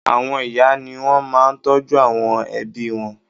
Àwọn ìyá ni wọ́n máa ń tọ́jú àwọn ẹbí wọn.